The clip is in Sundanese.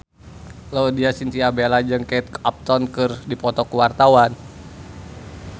Laudya Chintya Bella jeung Kate Upton keur dipoto ku wartawan